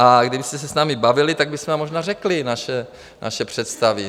A kdybyste se s námi bavili, tak bychom vám možná řekli naše představy.